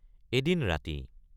এদিন ৰাতি।